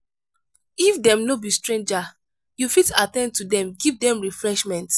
if dem no be stranger you fit at ten d to dem give dem refreshment